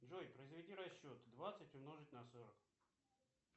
джой произведи расчет двадцать умножить на сорок